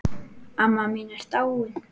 Amma mín er dáin.